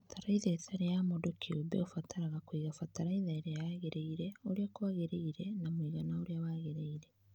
Fatalaitha ĩtarĩya kiũmbe Ũũ ũbaraga kũiga fatalaitha ĩrĩa yagĩrĩire ũrĩa kwagĩrĩire na mũigana ũrĩa wagĩrĩire